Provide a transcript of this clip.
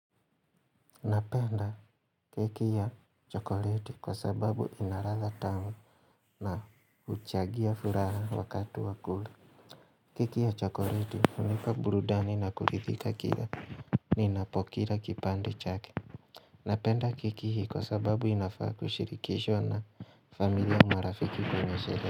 Napenda keki ya chokoreti kwa sababu ina radha tamu na uchagia furaha wakati wa kura keki ya chokoreti hunipa burudani na kulidhika kila ninapokira kipande chake Napenda keki hii kwa sababu inafaa kushirikishwa na familia marafiki tunasherehe.